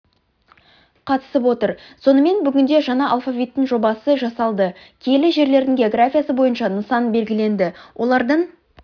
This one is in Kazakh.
қатысып отыр сонымен бүгінде жаңа алфавиттің жобасы жасалды киелі жерлердің географиясы бойынша нысан белгіленді олардың